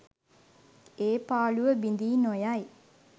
ඒ පාළුව බිඳී නොයයි